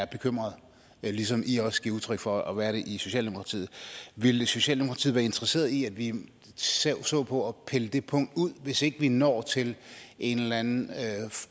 bekymring ligesom i også giver udtryk for at være det i socialdemokratiet ville socialdemokratiet være interesseret i at vi så på at pille det punkt ud hvis ikke vi når til en eller anden